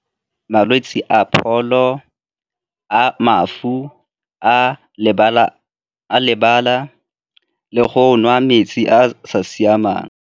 Malwetse a pholo, a mafu, a lebala le go nwa metsi a sa siamang.